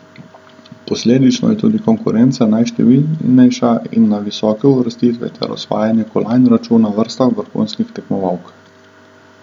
Posledično je tudi konkurenca najštevilnejša in na visoke uvrstitve ter osvajanje kolajn računa vrsta vrhunskih tekmovalk.